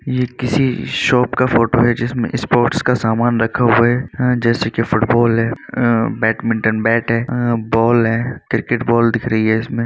ये किसी शॉप का फोटो है। जिसमें स्पोर्ट्स का सामान रखा हुआ है हाँ जैसे कि फुटबॉल है अ बेडमिंटन बैट है अ बॉल है क्रिकेट बॉल दिख रही है इसमें।